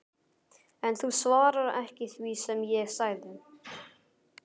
En þú svarar ekki því sem ég sagði